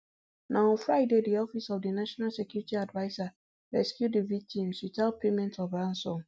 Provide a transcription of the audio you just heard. na on friday di office of di national security adviser rescue di victims witout payment of ransom